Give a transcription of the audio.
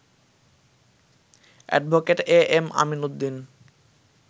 advocate A M Amin Uddin